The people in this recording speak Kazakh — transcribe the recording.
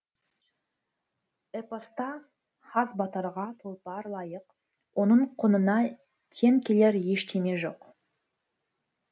эпоста хас батырға тұлпар лайық оның құнына тең келер ештеме жоқ